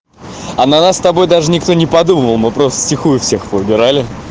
а на нас с тобой даже никто не подумал мы просто в тихую всех повыбирали